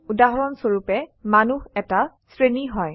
উদাহৰণস্বৰুপে মানুহ এটা শ্ৰেণী হয়